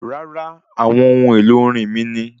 Rárá, àwọn ohun èlò orin mí ni